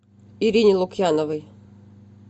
ирине лукьяновой